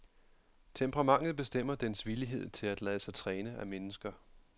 Temperamentet bestemmer dens villighed til at lade sig træne af mennesker.